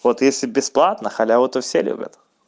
вот если бесплатно халяву то все любят